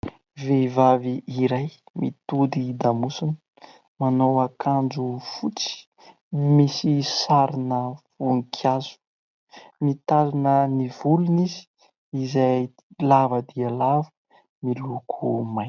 Vehivavy iray mitodi-damosina, manao akanjo fotsy misy sarina voninkazo, mitazona ny volony izy, izay lava dia lava miloko mainty.